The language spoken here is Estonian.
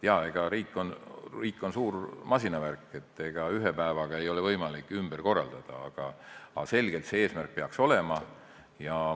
Jah, riik on suur masinavärk, ega ühe päevaga ei ole võimalik ju ümber korraldada, aga see eesmärk peaks selgelt olema.